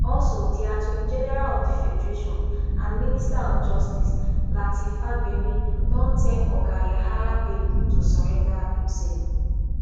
also di attorney general of di federation and minister of justice lateef fagbemi don tell oga yahaya bello to surrender imself